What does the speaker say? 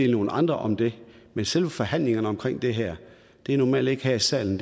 nogle andre om dem men selve forhandlingerne omkring det her er normalt ikke i salen